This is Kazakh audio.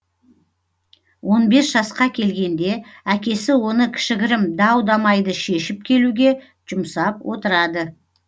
он бес жасқа келгенде әкесі оны кішігірім дау дамайды шешіп келуге жұмсап отырады